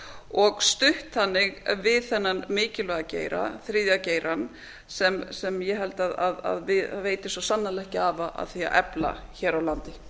og stutt þannig við þennan mikilvæga geira þriðja geirann sem ég held að veiti svo sannarlega ekki af að efla hér á landi